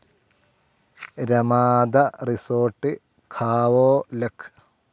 Ramada resort Khao luck